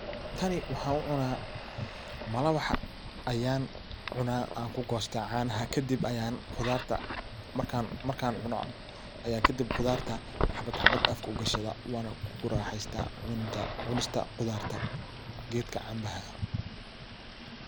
Tani waxan u cuna ,malawax ayan ku gosta kadib ayan canaha .Khudarta markan cuno aya kadib khudarta ayan xabad xabad afka u gishta waana ku raheysta .Hubinta cunista khudarta geedka canbaha ah .